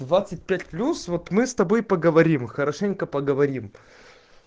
двадцать пять плюс вот мы с тобой поговорим хорошенько поговорим